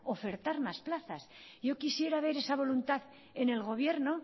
ofertar más plazas yo quisiera ver esa voluntad en el gobierno